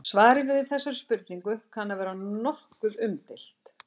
Svarið við þessari spurningu kann að vera nokkuð umdeilt.